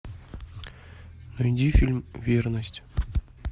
найди фильм верность